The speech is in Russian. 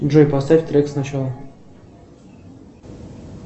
джой поставь трек сначала